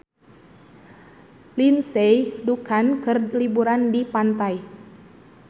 Lindsay Ducan keur liburan di pantai